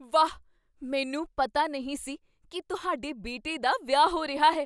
ਵਾਹ! ਮੈਨੂੰ ਪਤਾ ਨਹੀਂ ਸੀ ਕੀ ਤੁਹਾਡੇ ਬੇਟੇ ਦਾ ਵਿਆਹ ਹੋ ਰਿਹਾ ਹੈ!